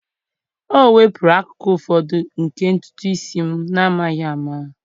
O wepụrụ akụkụ ụfọdụ nke ntutu isi m n'amaghị ama.